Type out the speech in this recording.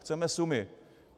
Chceme sumy.